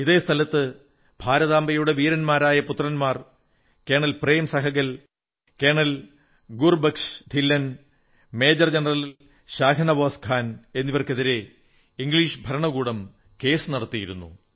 ഇതേ സ്ഥലത്ത് ഭാരതാംബയുടെ വീരന്മാരായ പുത്രന്മാർ colonel Prem Sahgal colonel Gurbaksh Dhillon major general Shahnawaz Khan എന്നിവർക്കെതിരെ ഇംഗ്ലീഷ് ഭരണകൂടം കേസു നടത്തിയിരുന്നു